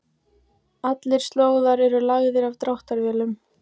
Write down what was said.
Allir slóðar eru lagðir af dráttarvélum.